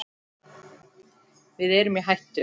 Við erum í hættu!